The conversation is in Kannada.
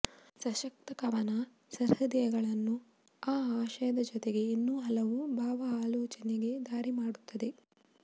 ಸಶಕ್ತ ಕವನ ಸಹೃದಯಿಗಳನ್ನು ಆ ಆಶಯದ ಜೊತೆಗೆ ಇನ್ನೂ ಹಲವು ಭಾವ ಆಲೋಚನೆಗೆ ದಾರಿ ಮಾಡುತ್ತದೆ